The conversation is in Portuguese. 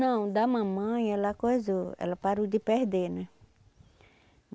Não, da mamãe ela coisou, ela parou de perder, né?